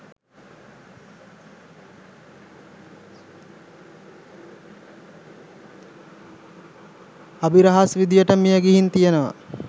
අභිරහස් විදියට මියගිහින් තියෙනව.